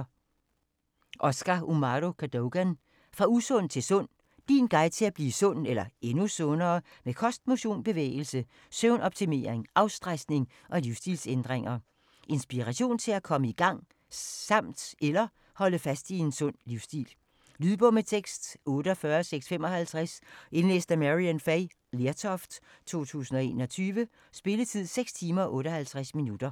Cadogan, Oscar Umahro: Fra usund til sund: din guide til at blive sund eller endnu sundere med kost, motion, bevægelse, søvnoptimering, afstressning og livsstilsændringer Inspiration til at komme i gang samt eller holde fast i en sund livsstil. Lydbog med tekst 48655 Indlæst af Maryann Fay Lertoft, 2021. Spilletid: 6 timer, 58 minutter.